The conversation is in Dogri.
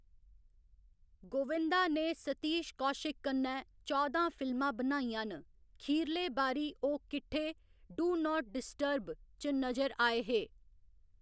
गोविंदा ने सतीश कौशिक कन्नै चौदां फिल्मां बनाइयां न, खीरले बारी ओह्‌‌ किट्ठे 'डू नाट डिस्टर्ब' च नजरी आए हे।